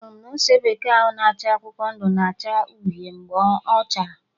Anụrụ m na ose bekee ahụ na acha akwụkwọ ndụ, na acha uhie mgbe ọchara